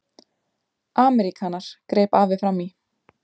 Ameríkanar, greip afi fram í.